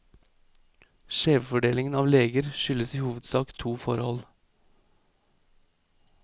Skjevfordelingen av leger skyldes i hovedsak to forhold.